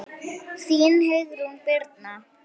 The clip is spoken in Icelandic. Þín Heiðrún Birna.